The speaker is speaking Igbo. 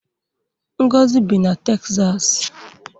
Ngozi bi na Texas